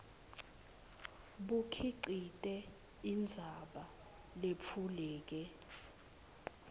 bukhicite indzaba letfuleke